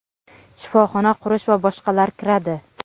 shifoxona qurish va boshqalar kiradi.